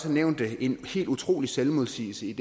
har nævnt en helt utrolig selvmodsigelse i